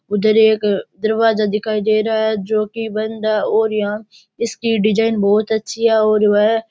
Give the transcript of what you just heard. उधर एक दरवाजा दिखाई दे रहा है जो की बंद है और यहां इसकी डिजाइन बहुत अच्छी है और वह --